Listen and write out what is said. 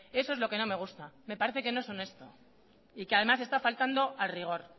eso es lo que no me gusta me parece que no es honesto y que además se está faltando al rigor